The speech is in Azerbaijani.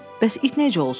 Bəs it necə olsun?